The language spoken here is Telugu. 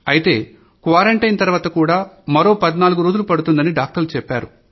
అయితే క్వారంటైన్ తర్వాత కూడా మరో 14 రోజులు పడుతోందని డాక్టర్లు చెప్పారు